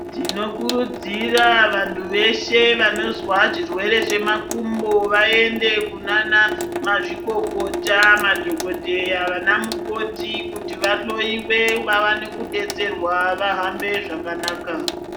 Tinokurudzira vantu veshe vanozwa zvirwere zvemakumbo ,vaende kunanamazvikokota madhokodheya ,vanamukoti kuti vahloiwe, vawane kudetserwa ,vahambe zvakanaka.